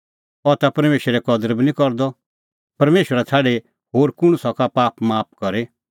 अह मणछ इहअ किल्है बोला अह ता परमेशरे कदर बी निं करदअ परमेशरा छ़ाडी होर कुंण सका पाप माफ करी